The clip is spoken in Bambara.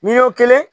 Miliyɔn kelen